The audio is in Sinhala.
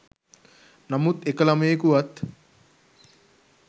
නමුත් එක ළමයෙකුවත්